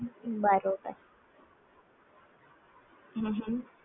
બરોબર હં હ